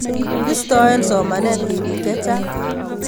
Pistoi somanet tipiik che chang'